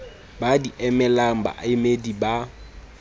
ba di emelang baemedi ba